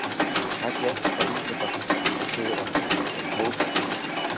Takið eftir hvað innkaupatuðran hennar er hófstillt.